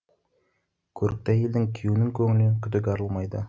көрікті әйелдің күйеуінің көңілінен күдік арылмайды